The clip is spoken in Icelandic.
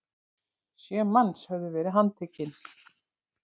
Sjö manns höfðu verið handtekin!